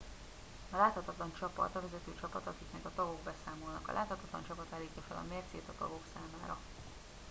"a "láthatatlan csapat" a vezető csapat akiknek a tagok beszámolnak. a láthatatlan csapat állítja fel a mércét a tagok számára.